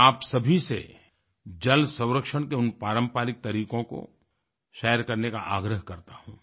मैं आप सभी से जल संरक्षण के उन पारंपरिक तरीकों को शेयर करने का आग्रह करता हूँ